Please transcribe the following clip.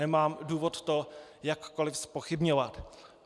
Nemám důvod to jakkoli zpochybňovat.